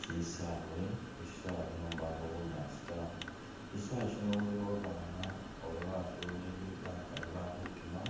Shisawe, khu’shisawe khuno imbakho bunyaasi taa, shisawe shino khulikho babana oba basoleli bakali bakhutima